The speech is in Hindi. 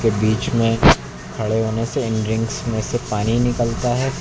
बीच में खड़े होने से इन रिंग्स में से पानी निकलता है।